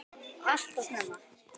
Alltof snemma.